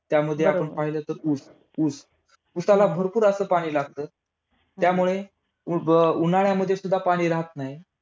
तिस नदी होय. नदीच्या उगमाजवळ पात्र अरुंद व उतार त्रिव्य असतो.जिथे ती समुद्राला मिळते.